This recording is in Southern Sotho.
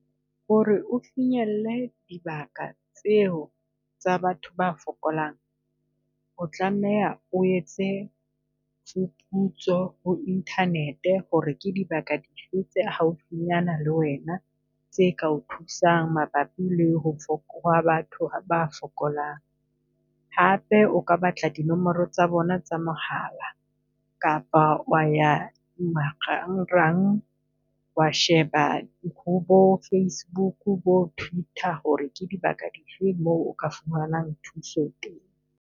Ho re o finyelle dibaka tseo tsa batho ba fokolang, o tlameha o etse phuputso Internet ho re ke dibaka tse haufinyana le wena tse ka o thusang mabapi le ho ha batho ba fokolang. Hape o ka batla dinomoro tsa bona tsa mohala kapa wa ya marangrang, wa sheba bo FACEBOOK, bo TWITTER ho re ke dibaka difeng moo o ka fumanang thuso teng.